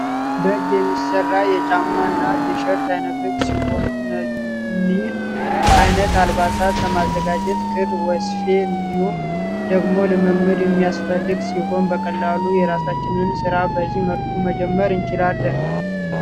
በእጅ የሚሰሩ የ ጫማ እና ቲሸርት አይነቶች ሲሆኑ እኒህን አይነት አልባሳት ለማዘጋጀት ክር ፥ ወስፌ እንዲሁን ደሞ ልምምድ እሚያስፈልግ ሲሆን በቀላሉ የራሳችንን ስራ በዚህ መልኩ መጀመር እንችላለን ።